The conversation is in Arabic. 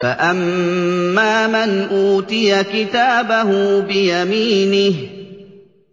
فَأَمَّا مَنْ أُوتِيَ كِتَابَهُ بِيَمِينِهِ